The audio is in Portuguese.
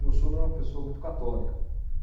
Meu sogro era uma pessoa muito católica.